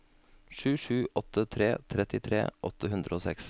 sju sju åtte tre trettitre åtte hundre og seks